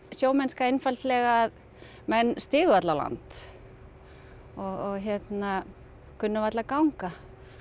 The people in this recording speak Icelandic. sjómennska einfaldlega að menn stigu varla á land og kunnu varla að ganga